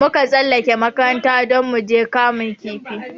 Mun kan tsallake makaranta don muje kamun kifi